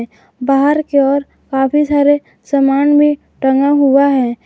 बाहर की ओर काफी सारे सामान भी टंगा हुआ है।